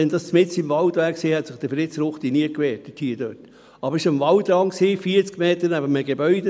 Wenn dies mitten im Wald gewesen wäre, hätte sich Fritz Ruchti dort nie gewehrt, aber es war am Waldrand, 40 Meter neben einem Gebäude;